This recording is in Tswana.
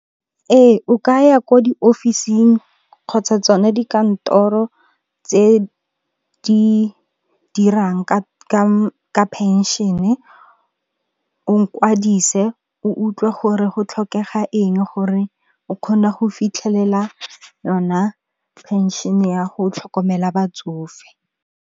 Ee o ka ya ko diofising kgotsa tsone dikantoro tse di dirang ka phenšene, o kwadise o utlwe gore go tlhokega eng gore o kgone go fitlhelela yona phenšene ya go tlhokomela batsofe.